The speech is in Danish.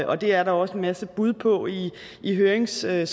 og det er der også en masse bud på i i høringssvarene